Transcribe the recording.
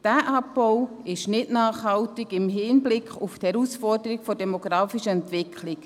Dieser Abbau ist nicht nachhaltig im Hinblick auf die Herausforderung der demografischen Entwicklung.